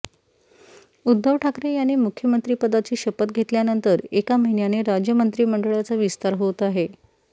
उद्धव ठाकरे यांनी मुख्यमंत्रीपदाची शपथ घेतल्यानंतर एका महिन्याने राज्य मंत्रिमंडळाचा विस्तार होत आहे